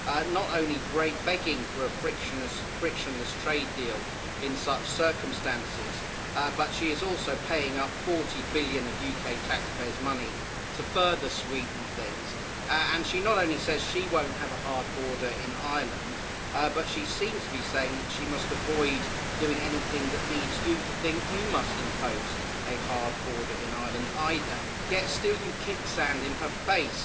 not only begging for a frictionless trade deal in such circumstances, but she is also paying up 40 billion of UK taxpayers' money to further sweeten things. She not only says she won't have a hard border in Ireland, but she seems to be saying she must avoid doing anything that leads you to think you must impose a hard border in Ireland either, yet still you kick sand in her face.